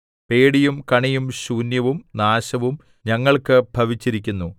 പേടിയും കണിയും ശൂന്യവും നാശവും ഞങ്ങൾക്ക് ഭവിച്ചിരിക്കുന്നു